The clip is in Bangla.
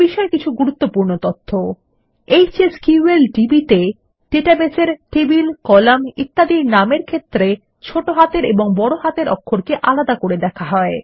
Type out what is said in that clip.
এবিষয় কিছু গুরুত্বপূর্ণ তথ্য160 এচএসকিউএলডিবি ডাটাবেসের মধ্যে বস্তু অর্থাত টেবিল কলাম ইত্যাদির নামের ক্ষেত্রে ছোট হাতের ও বড় হাতের অক্ষরকে আলাদা করে দেখে